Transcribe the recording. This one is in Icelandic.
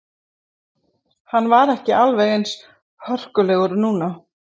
Hann var ekki alveg eins hörkulegur núna.